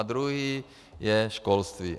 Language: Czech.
A druhý je školství.